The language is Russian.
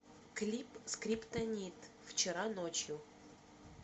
клип скриптонит вчера ночью